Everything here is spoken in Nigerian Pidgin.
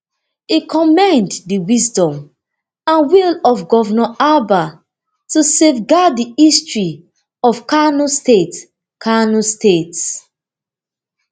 e commend di wisdom and will of govnor abba to safeguard di history of kano state kano state